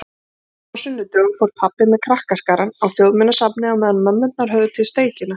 Stundum á sunnudögum fór pabbi með krakkaskarann á Þjóðminjasafnið á meðan mömmurnar höfðu til steikina.